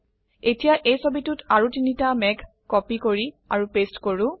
এতিয়া এই ছবিতোত আৰু তিনিটা মেঘ কপি কৰি আৰু পেস্ট কৰো